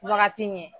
Wagati ɲɛ